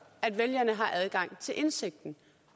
at vælgerne har adgang til indsigten